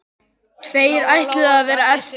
Tveir ætluðu að verða eftir.